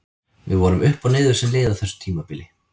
Við vorum upp og niður sem lið á þessu tímabili.